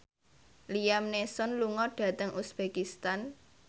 Liam Neeson lunga dhateng uzbekistan